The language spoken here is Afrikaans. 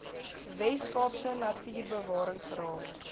wes kaapse natuurbewaringsraad